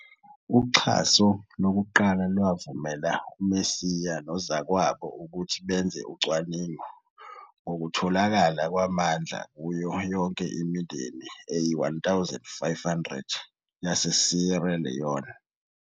Uxhaso lokuqala lwavumela uMosia nozakwabo ukuthi benze ucwaningo ngokutholakala kwamandla kuyo yonke imindeni eyi-1,500 yaseSierra Leone.